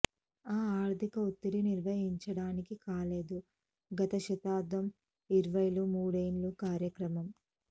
ఆ ఆర్థిక ఒత్తిడి నిర్వహించడానికి కాలేదు గత శతాబ్దం ఇరవైలు మూడేళ్ల కార్యక్రమం